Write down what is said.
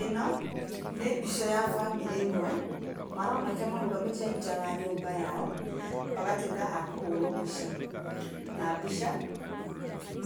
Ĩno nĩ mbica ya bamĩrĩ ĩmwe, maroneka marũgamĩte nja wa nyũmba yao, magatuĩka a kũhũrwo mbica. Na mbica